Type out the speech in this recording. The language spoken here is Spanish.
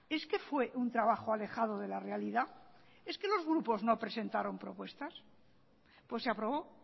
es que fue un trabajo alejado de la realidad es que los grupos no presentaron propuestas pues se aprobó